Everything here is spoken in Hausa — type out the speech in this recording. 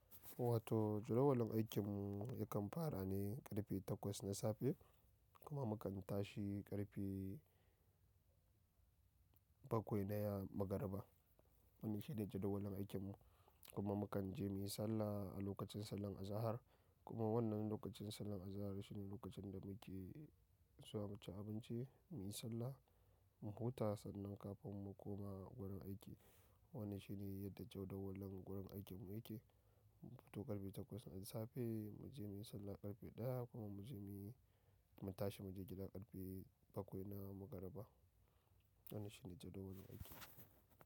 Wato jadawalin aikin mu yakan fara ne karfe takwas na safe kuma mu kan tashi karfe bakwai na ya-maghariba. Wannan shi ne jadawalin aikin mu. Kuma mu kan je muyi sallah a lokacin sallar azahar. Kuma wannan lokacin sallar azahar shi ne lokacin da muke zuwa mu ci abinci, muyi sallah, mu huta sannan kafin mu koma wurin aiki. Wannan shi ne yadda jadawalin wurin aikin mu yake. Mu fito karfe takwas na safe, mu je muyi sallah karfe ɗaya kuma mu je muyi- mu tashi mu je gida karfe bakwai na maghariba. Wannan shi ne jadawalin aikin mu.